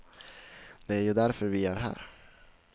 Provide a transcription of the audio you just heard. Det är ju därför vi är här.